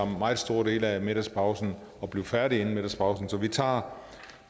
meget store dele af middagspausen at blive færdige inden middagspausen så vi tager